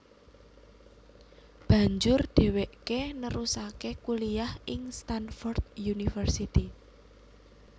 Banjur dheweke nerusake kuliyah ing Stanford University